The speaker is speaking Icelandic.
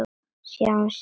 Sjáumst síðar, elsku afi.